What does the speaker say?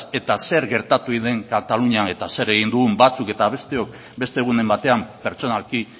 eta zer gertatu egin den katalunian eta zer egin dugun batzuk eta besteok beste egunen batean pertsonalki